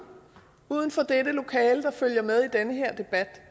uden for dette lokale der følger med i den her debat